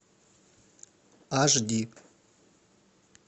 аш ди